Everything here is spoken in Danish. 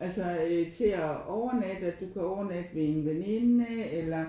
Altså øh til at overnatte at du kan overnatte ved en veninde eller